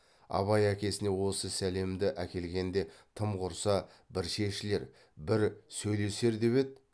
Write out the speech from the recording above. абай әкесіне осы сәлемді әкелгенде тым құрса бір шешілер бір сөйлесер деп еді